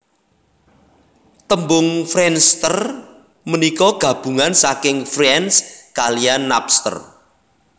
Tembung friendster punika gabungan saking friends kaliyan Napster